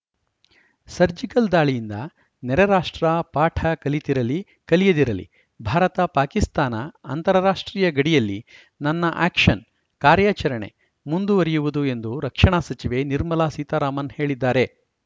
surgical ದಾಳಿಯಿಂದ ನೆರೆ ರಾಷ್ಟ್ರ ಪಾಠ ಕಲಿತಿರಲಿ ಕಲಿಯದಿರಲಿ ಭಾರತಪಾಕಿಸ್ತಾನ ಅಂತಾರಾಷ್ಟ್ರೀಯ ಗಡಿಯಲ್ಲಿ ನನ್ನ ಆ್ಯಕ್ಷನ್‌ ಕಾರ್ಯಾಚರಣೆ ಮುಂದುವರಿಯುವುದು ಎಂದು ರಕ್ಷಣಾ ಸಚಿವೆ ನಿರ್ಮಲಾ ಸೀತಾರಾಮನ್‌ ಹೇಳಿದ್ದಾರೆ